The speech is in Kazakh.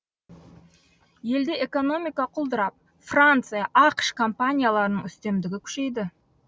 елде экономика құлдырап франция ақш компанияларының үстемдігі күшейді